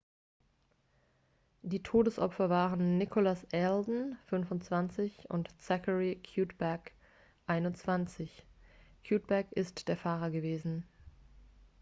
die todesopfer waren nicholas alden 25 und zachary cuddeback 21. cuddeback ist der fahrer gewesen